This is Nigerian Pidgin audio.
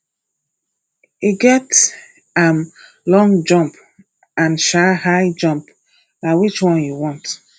e get um long jump and um high jump na which one you want